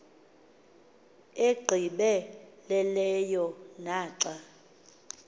egqibe leleyo naxa